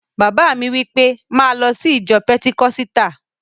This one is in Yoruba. Bàbá mi wí pé, 'máa lọ sí ìjọ pẹtikọ́sítà!